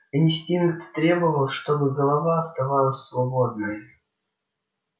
инстинкт требовал чтобы голова оставалась свободной